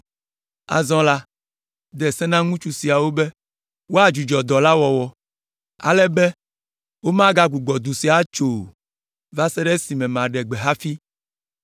Azɔ la, de se na ŋutsu siawo be woadzudzɔ dɔ la wɔwɔ, ale be womagbugbɔ du sia atso o va se ɖe esime maɖe gbe hafi.